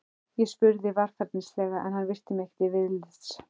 Ég spurði varfærnislega en hann virti mig ekki viðlits.